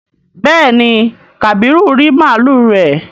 béèni kabiru rí màlúù rẹ.